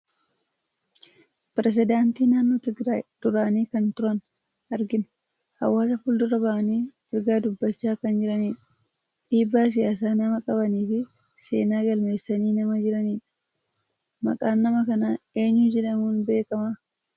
Pireesidaantii naannoo Tigraayii duraanii kan turan argina. Hawaasa fuuldura bahanii ergaa dubbachaa kan jirani dha. Dhiibbaa Siyaasaa nama qabanii fi seenaa galmeessanii nama jiranidha. Maqaan nama kanaa eenyu jedhamuun beekama?